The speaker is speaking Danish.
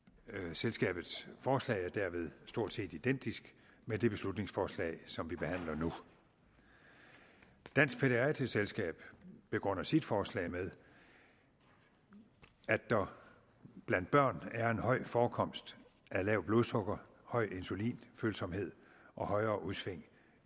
selskabets forslag er derved stort set identisk med det beslutningsforslag som vi behandler nu dansk pædiatrisk selskab begrunder sit forslag med at der blandt børn er en høj forekomst af lavt blodsukker høj insulinfølsomhed og højere udsving